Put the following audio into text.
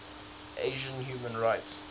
asian human rights